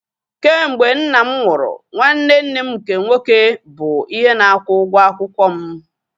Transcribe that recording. Kemgbe nna m nwụrụ, nwanne nne m nke nwoke bụ ihe na-akwụ ụgwọ akwụkwọ m